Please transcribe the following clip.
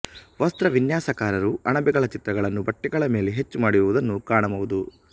ವಸ್ತ್ರವಿನ್ಯಾಸಕಾರರು ಅಣಬೆಗಳ ಚಿತ್ರಗಳನ್ನು ಬಟ್ಟೆಗಳ ಮೇಲೆ ಹೆಚ್ಚು ಮಾಡಿರುವುದನ್ನು ಕಾಣಬಹುದು